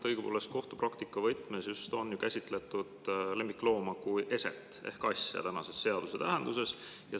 Õigupoolest kohtupraktika võtmes on lemmiklooma käsitletud kui eset ehk asja tänase seaduse tähenduses.